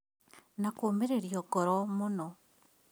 Na kũũmĩrĩrio ngoro mũno